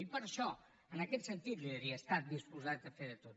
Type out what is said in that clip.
i per això en aquest sentit li diria he estat disposat a fer de tot